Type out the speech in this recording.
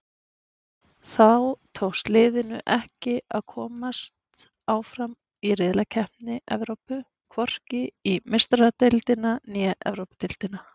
Þá tókst liðinu ekki að komast áfram í riðlakeppni Evrópu, hvorki í Meistaradeildina né Evrópudeildina.